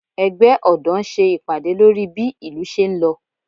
Ẹgbẹ́ ọ̀dọ́ ń ṣe ìpàdé lórí bí ìlú ṣé ń lọ